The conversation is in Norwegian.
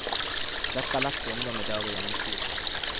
Dette er lett for ungdom i dag å gjennomskue.